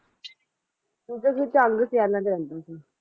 ਚੂਚਕ ਝਾੰਗ ਸਿਯਾਲਾਂ ਵਿਚ ਰਹੰਦਾ ਸੀ